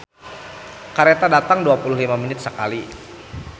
"Kareta datang dua puluh lima menit sakali"